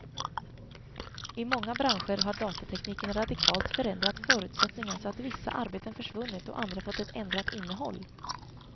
I många branscher har datatekniken radikalt förändrat förutsättningarna så att vissa arbeten försvunnit och andra fått ett ändrat innehåll.